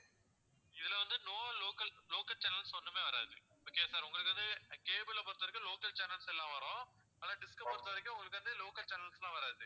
இதுல வந்து no local local channels ஒண்ணுமே வராது okay யா sir உங்களுக்கு வந்து cable ல பொறுத்தவரைக்கும் local channels எல்லாம் வரும் ஆனால் dish அ பொறுத்தவரைக்கும் உங்களுக்கு வந்து local channels லாம் வராது